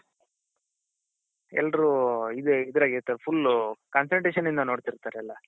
ಎಲ್ಲರೂ ಇದ್ರಾಗೆ ಎಂತ full concentration ಇಂದ ನೋಡ್ತಿರ್ತಾರೆ ಎಲ್ಲಾ